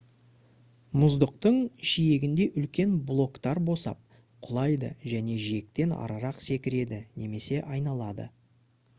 мұздықтың жиегінде үлкен блоктар босап құлайды және жиектен арырақ секіреді немесе айналады